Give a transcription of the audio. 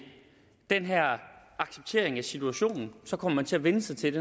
den her accept af situationen så kommer man til at vænne sig til